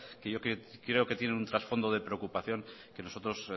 que yo quiero que tienen una trasfondo de preocupación que nosotros